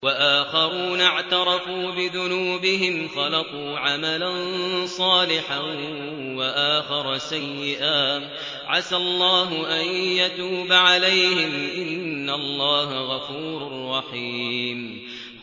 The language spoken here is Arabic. وَآخَرُونَ اعْتَرَفُوا بِذُنُوبِهِمْ خَلَطُوا عَمَلًا صَالِحًا وَآخَرَ سَيِّئًا عَسَى اللَّهُ أَن يَتُوبَ عَلَيْهِمْ ۚ إِنَّ اللَّهَ غَفُورٌ رَّحِيمٌ